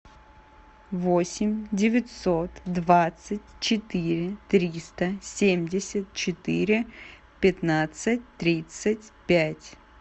восемь девятьсот двадцать четыре триста семьдесят четыре пятнадцать тридцать пять